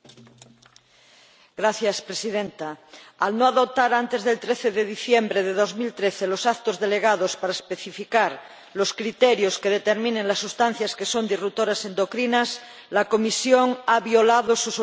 Señora Presidenta, al no adoptar antes del 13 de diciembre de 2013 los actos delegados para especificar los criterios que determinen las sustancias que son alteradores endocrinos, la Comisión ha violado sus obligaciones legales.